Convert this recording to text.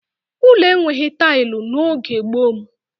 Ụlọ enweghị tailụ n'oge gboo m